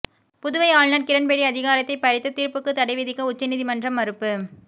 புதுவை ஆளுநர் கிரண்பேடி அதிகாரத்தை பறித்த தீர்ப்புக்கு தடை விதிக்க உச்சநீதிமன்றம் மறுப்பு